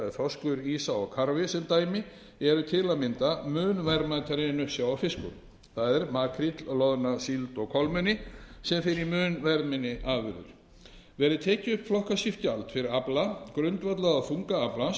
þorskur ýsa og karfi sem dæmi eru til að mynda mun verðmætari en uppsjávarfiskur það er makríll loðna síld og kolmunni sem fer í mun verðminni afurðir verði tekið upp flokkaskipt gjald fyrir afla grundvallað á þunga aflans þarf gjald fyrir